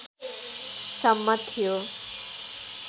सम्म थियो